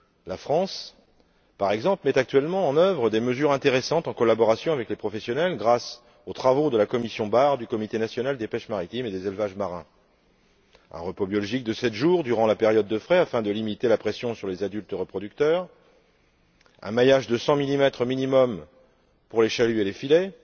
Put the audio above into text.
La France, par exemple, met actuellement en œuvre des mesures intéressantes en collaboration avec les professionnels, grâce aux travaux de la commission Bar du comité national des pêches maritimes et des élevages marins un repos biologique de sept jours durant la période de frai afin de limiter la pression sur les adultes reproducteurs, un maillage de 100millimètres minimum pour les chaluts et les filets,